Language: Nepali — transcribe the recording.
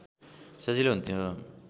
सजिलो हुन्थ्यो